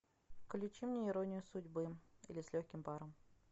включи мне иронию судьбы или с легким паром